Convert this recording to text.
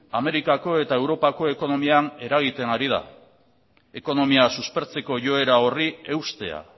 amerikako eta europako ekonomian eragiten ari da ekonomia suspertzeko joera horri eustea